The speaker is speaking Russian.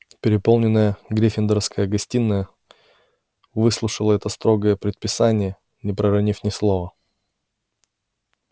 переполненная гриффиндорская гостиная выслушала это строгое предписание не проронив ни слова